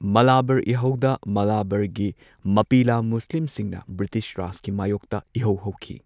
ꯃꯥꯂꯥꯕꯥꯔ ꯏꯍꯧꯗ ꯃꯥꯂꯥꯕꯥꯔꯒꯤ ꯃꯞꯄꯤꯂꯥ ꯃꯨꯁꯂꯤꯝꯁꯤꯡꯅ ꯕ꯭ꯔꯤꯇꯤꯁ ꯔꯥꯖꯀꯤ ꯃꯥꯢꯌꯣꯛꯇ ꯏꯍꯧ ꯍꯧꯈꯤ꯫